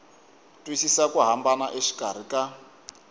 twisisa ku hambana exikarhi ka